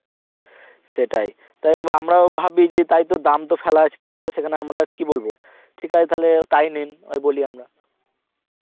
সেটাই, তাই আমরাও ভাবি যে তাই তো দাম তো ফেলা আছে তো সেখানে আমরা আর কি বলবো, ঠিক আছে তাহলে তাই নিন ওই বলি আমরা